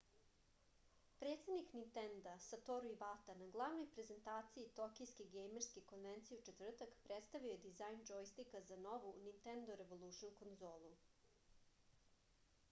predsednik nintenda satoru ivata na glavnoj prezentaciji tokijske gejmerske konvencije u četvrtak predstavio je dizajn džojstika za novu nintendo revolušn konzolu